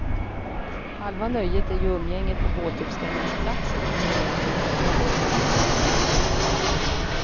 Halva nöjet är ju umgänget på båtuppställningsplatsen, menade träbåtsentusiasterna.